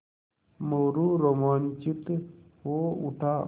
मोरू रोमांचित हो उठा